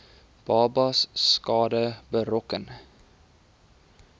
babas skade berokken